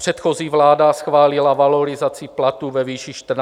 Předchozí vláda schválila valorizaci platů ve výši 1 400 korun.